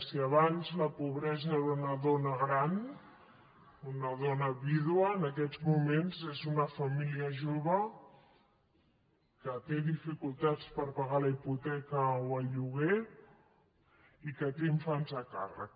si abans la pobresa era una dona gran una dona vídua en aquests moments és una família jove que té dificultats per pagar la hipoteca o el lloguer i que té infants a càrrec